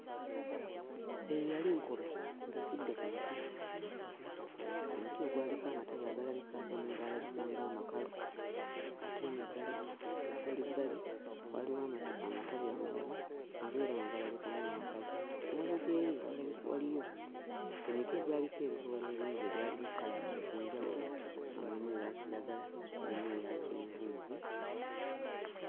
Eyo yali nkobe ng'etudde ku muti, omuti ogwaliko amatabi agalabika agamu gaalabika ng'amakalu ate eno ebbali ebbalibbali waaliwo amata amatabi amalala nago era nga galabika ng'amakalu. Emabega eri waaliyo emiti egyaliko ebikoola ebingi ebiyalimu 'colors' ez'enjawulo nga mulimu eya kiragala, mulimu eya kyenvunvu...